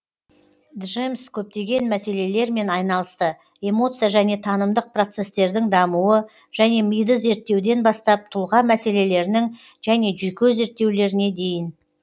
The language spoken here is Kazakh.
джемс көптеген мәселелермен айналысты эмоция және танымдық процестердің дамуы және миды зерттеуден бастап тұлға мәселелерінің және жүйке зерттеулеріне дейін